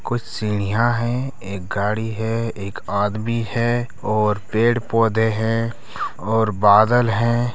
कुछ सीढ़ियां है एक गाड़ी है एक आदमी है और पेड़-पौधे है और बादल है।